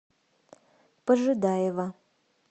пожидаева